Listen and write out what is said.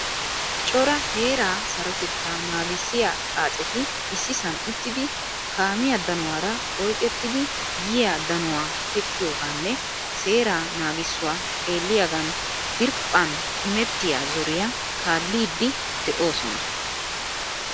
Cora heera sarotetta naagisiyaa xaacetti issisan uttidi kaamiyaa daanuwara oyqqettidi yiyaa danuwaa teqqiyoganne seeraa naagisuwaa xeeliyagna diriphphan immetiyaa zoriyaa kaalidi deosona.